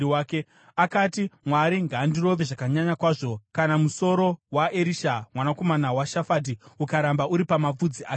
Akati, “Mwari ngaandirove zvakanyanya kwazvo, kana musoro waErisha mwanakomana waShafati ukaramba uri pamapfudzi ake nhasi!”